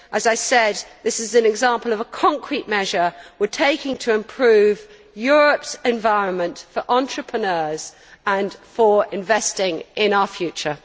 As I said, this is an example of a concrete measure we are taking to improve Europe's environment for entrepreneurs and for investing in our future.